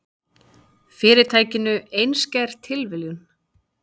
Fyrirtækinu, einskær tilviljun.